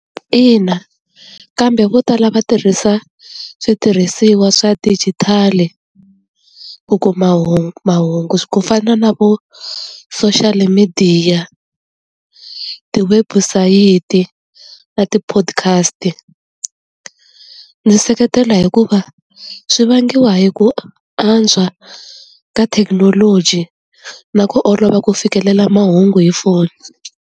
Ina kambe vo tala va tirhisa switirhisiwa swa dijitali ku kuma hungu mahungu ku fana na vo social midiya, tiwebusayiti na ti-podcast ndzi seketela hikuva swi vangiwa hi ku antswa ka thekinoloji na ku olova ku fikelela mahungu hi foni.